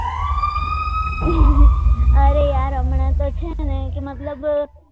અરે યાર હમણાં તો છે ને કે મતલબ